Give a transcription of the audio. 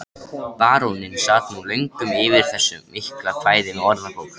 Baróninn sat nú löngum yfir þessu mikla kvæði með orðabók.